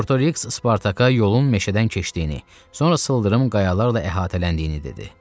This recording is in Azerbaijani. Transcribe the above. Botoriks Spartaka yolun meşədən keçdiyini, sonra sıldırım qayalarla əhatələndiyini dedi.